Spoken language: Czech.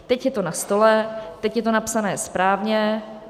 Teď je to na stole, teď je to napsané správně.